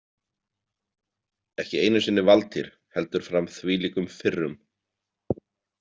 Ekki einu sinni Valtýr heldur fram þvílíkum firrum.